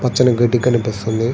పచ్చని గడ్డి కనిపిస్తుంది.